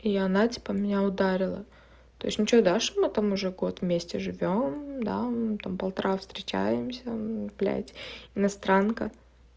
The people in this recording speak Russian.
и она типа меня ударила то есть ну что дашь ему там уже год вместе живём да там полтора встречаемся блядь иностранка